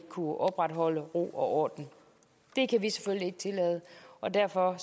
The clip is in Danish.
kunne opretholde ro og orden det kan vi selvfølgelig ikke tillade og derfor